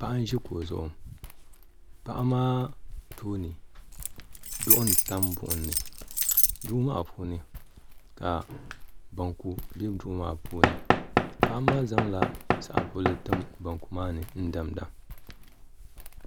Paɣa n zi kuɣu zuɣu paɣa maa tooni duɣu n tami buɣim ni duɣu maa puuni ka banku bɛ duɣu maa puuni paɣa maa zaŋ la saɣim buɣili n tim banku maa ni n dami da